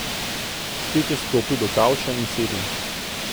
Spet je stopil do kavča in sedel.